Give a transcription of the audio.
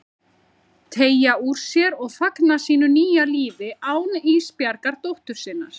Teygja úr sér og fagna sínu nýja lífi án Ísbjargar dóttur sinnar.